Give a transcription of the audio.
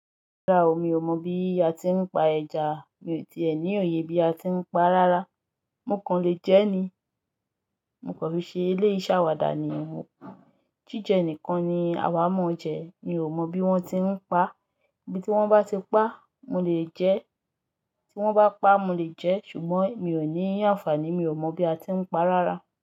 Rárá o, mi ò mọ bí a ti ń pa ẹja, èmi ti è ní òye bí a ti ń pa á rárá. Mò kan lè jẹ́ ni, mo kò fi ṣe eléyìí ṣàwàdà ni mò, jíjẹ nìkan ni àwà mọ̀ ọ́ jẹ́, mi ò mọ bí wón ti ń pa á, bí tí wón bá ti pa á, mo lè jẹ́, tí wón bá pa á, mo lè jẹ́, ṣùgbọ́n mi ò ní àǹfààní, mi ò mọ bí a ti ń pa á rárá.